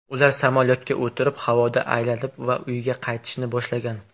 Ular samolyotga o‘tirib havoda aylanib va uyga qaytishni boshlagan.